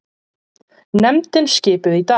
Nefndin skipuð í dag